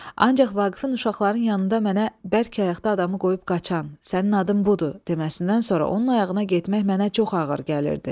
Ancaq Vaqifin uşaqların yanında mənə bərk ayaqda adamı qoyub qaçan, sənin adın budur deməsindən sonra onun ayağına getmək mənə çox ağır gəlirdi.